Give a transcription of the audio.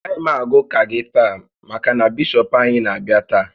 Agaghị m aga ụka gị taa maka na Bishọp anyị na-abịa taa